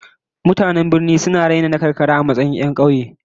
Mutanen birnin mu suna da raina na karkara a matsayin 'yan kauye